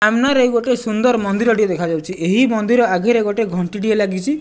ସାମ୍ନା ରେ ଗୋଟେ ସୁନ୍ଦର୍ ମନ୍ଦିର ଟିଏ ଦେଖାଯାଉଛି ଏହି ମନ୍ଦିର ଆଗରେ ଗୋଟେ ଘଣ୍ଟି ଟିଏ ଲାଗିଛି।